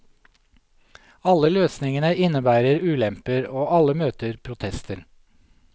Alle løsningene innebærer ulemper, og alle møter protester.